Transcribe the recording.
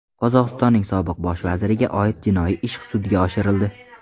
Qozog‘istonning sobiq bosh vaziriga oid jinoiy ish sudga oshirildi.